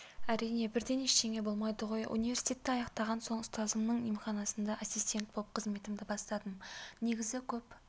әрине бірден ештеңе болмайды ғой университетті аяқтаған соң ұстазымның емханасында ассистент болып қызметімді бастадым негізі көп